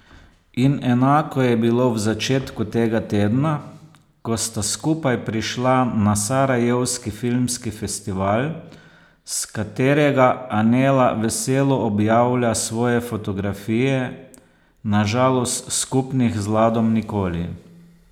In enako je bilo v začetku tega tedna, ko sta skupaj prišla na sarajevski filmski festival, s katerega Anela veselo objavlja svoje fotografije, na žalost skupnih z Ladom nikoli.